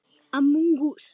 Þín Millý.